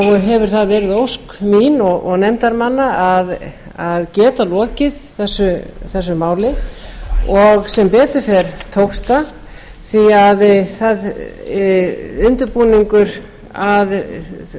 hefur það verið ósk mín og nefndarmanna að geta lokið þessu máli og sem betur fer tókst það því undirbúningur að